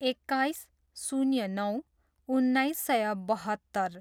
एक्काइस, शून्य नौ, उन्नाइस सय बहत्तर